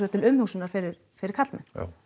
til umhugsunar fyrir fyrir karlmenn